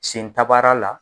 Sen tabara la